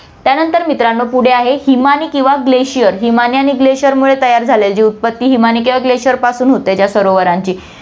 त्यानंतर मित्रांनो, पुढे आहे हिमानी किंवा glacier, हिमानी आणि glacier मुळे तयार झालेली उत्पत्ति, हिमानी किंवा glacier पासून होते त्या सरोवरांची